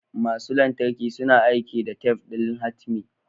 Masu lantarki suna aiki da tef ɗin hatimi.